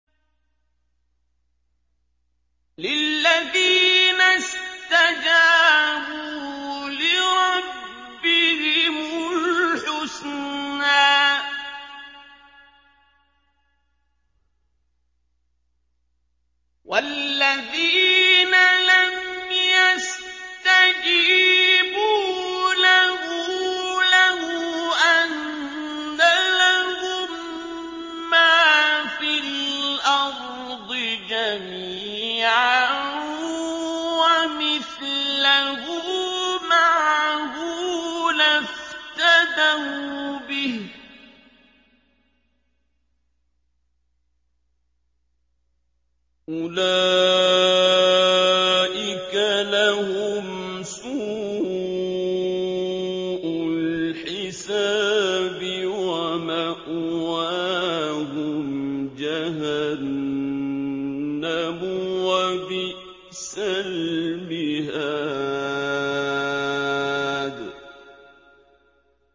لِلَّذِينَ اسْتَجَابُوا لِرَبِّهِمُ الْحُسْنَىٰ ۚ وَالَّذِينَ لَمْ يَسْتَجِيبُوا لَهُ لَوْ أَنَّ لَهُم مَّا فِي الْأَرْضِ جَمِيعًا وَمِثْلَهُ مَعَهُ لَافْتَدَوْا بِهِ ۚ أُولَٰئِكَ لَهُمْ سُوءُ الْحِسَابِ وَمَأْوَاهُمْ جَهَنَّمُ ۖ وَبِئْسَ الْمِهَادُ